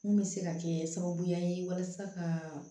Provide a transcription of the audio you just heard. Mun bɛ se ka kɛ sababuya ye walasa ka